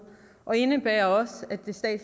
og indebærer også